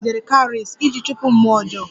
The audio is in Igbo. A kpọgidere Cowries iji chụpụ mmụọ ọjọọ